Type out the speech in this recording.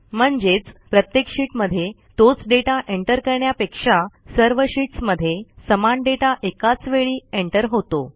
म्हणजेच प्रत्येक शीटमध्ये तोच डेटा एंटर करण्यापेक्षा सर्व शीटस् मध्ये समान डेटा एकाचवेळी एंटर होतो